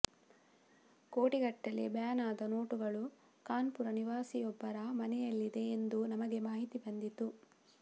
ಕೋಟಿಗಟ್ಟಲೆ ಬ್ಯಾನ್ ಆದ ನೋಟುಗಳು ಕಾನ್ಪುರ ನಿವಾಸಿಯೊಬ್ಬರ ಮನೆಯಲ್ಲಿದೆ ಎಂದು ನಮಗೆ ಮಾಹಿತಿ ಬಂದಿತ್ತು